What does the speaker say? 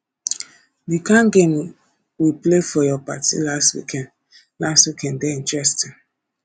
the kin game we play for your party last weekend last weekend dey interesting